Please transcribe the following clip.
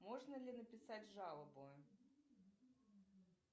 можно ли написать жалобу